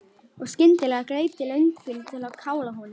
Og skyndilega greip þig löngun til að kála honum.